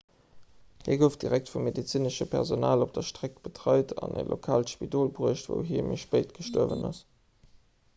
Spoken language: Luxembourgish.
hie gouf direkt vum medezinesche personal op der streck betreit an an e lokaalt spidol bruecht wou hie méi spéit gestuerwen ass